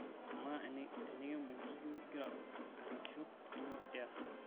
kamaa enekibung ijo igira ripisho kanyoo ias